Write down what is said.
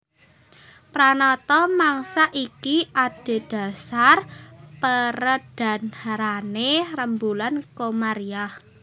Pranata mangsa iki adhedhasar perédharané rembulan Komariah